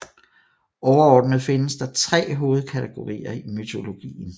Overordnet findes der tre hovedkategorier i mytologien